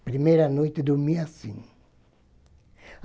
Na primeira noite, eu dormia assim.